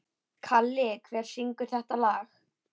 Kalli, hver syngur þetta lag?